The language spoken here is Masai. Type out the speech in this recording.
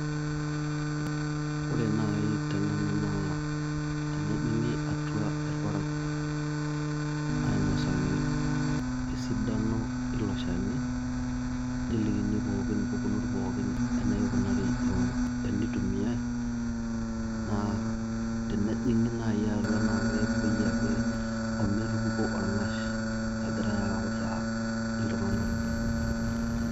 Ore naii tenanu naa tenejing'i atwa irparakuo ainosaki esidano eilo Shani neliki pooki embukunot pooki enaikunari enitumiai naa tenejing'i naii atwa naa kepoi ake ometupuki orng'as egirai autaa iltung'anak.